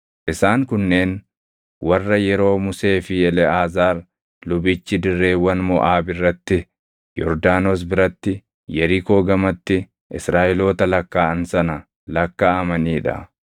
Isaan kunneen warra yeroo Musee fi Eleʼaazaar lubichi dirreewwan Moʼaab irratti, Yordaanos biratti, Yerikoo gamatti Israaʼeloota lakkaaʼan sana lakkaaʼamanii dha.